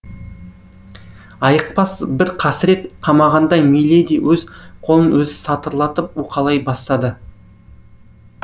айықпас бір қасірет қамағандай миледи өз қолын өзі сатырлатып уқалай бастады